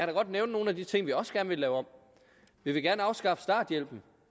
da godt nævne nogle af de ting vi også gerne vil lave om vi vil gerne afskaffe starthjælpen